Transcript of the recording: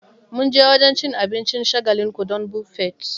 Mun je wajen cin abincin shagalinku don Buffet